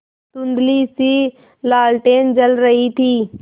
धुँधलीसी लालटेन जल रही थी